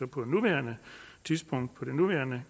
på nuværende tidspunkt på det nuværende